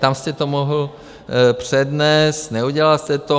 Tam jste to mohl přednést, neudělal jste to.